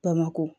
Bamakɔ